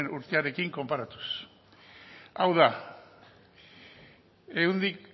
urtearekin konparatuz hau da ehuneko